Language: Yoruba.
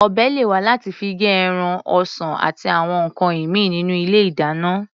Ọ̀bẹ lè wà láti fi gé ẹran, ọsàn àti àwọn nǹkan ìmíì nínú ilé-ìdáná.